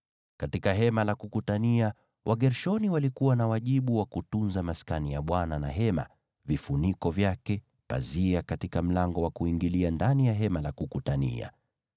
Katika Hema la Kukutania, Wagershoni walikuwa na wajibu wa kutunza Maskani na hema, vifuniko vyake, pazia katika mlango wa kuingilia ndani ya Hema la Kukutania,